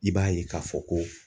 I b'a ye k'a fɔ ko.